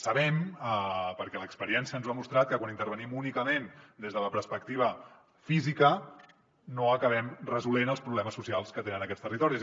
sabem perquè l’experiència ens ho ha demostrat que quan intervenim únicament des de la perspectiva física no acabem resolent els problemes socials que tenen aquests territoris